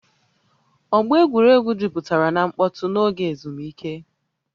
Ọgba egwuregwu jupụtara na mkpọtụ n'oge ezumike